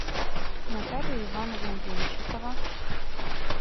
наталья ивановна деньщикова